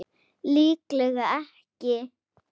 Líklega ekki.